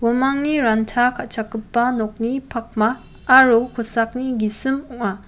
uamangni ranta ka·chakgipa nokni pakma aro kosakni gisim ong·a.